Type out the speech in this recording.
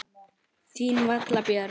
Þín Vala Björg.